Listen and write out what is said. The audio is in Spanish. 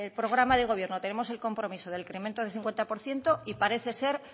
programa de gobierno tenemos el compromiso del incremento del cincuenta por ciento y parece ser